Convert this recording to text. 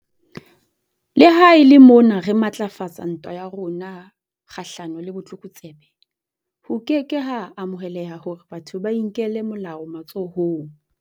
Le ha e le mona re matlafatsa ntwa ya rona kgahlano le botlokotsebe, ho ke ke ha amoheleha hore batho ba inkele molao matsohong.